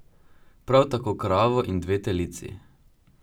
Prav tako kravo in dve telici.